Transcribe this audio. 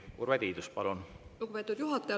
Lugupeetud juhataja!